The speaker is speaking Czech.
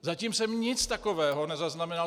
Zatím jsem nic takového nezaznamenal.